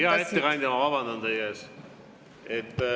Hea ettekandja, ma vabandan teie ees.